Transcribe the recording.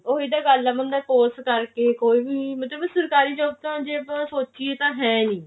ਉਹੀ ਤਾਂ ਗੱਲ ਆ ਮੁੰਡਾ course ਕਰਕੇ ਕੋਈ ਵੀ ਮਤਲਬ ਸਰਕਾਰੀ job ਤਾਂ ਜੇ ਆਪਾਂ ਸੋਚਿਏ ਤਾਂ ਹੈ ਨੀ